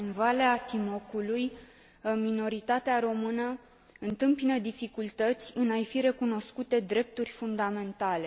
În Valea Timocului, minoritatea română întâmpină dificultăți în a i fi recunoscute drepturi fundamentale.